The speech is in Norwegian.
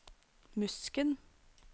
Musken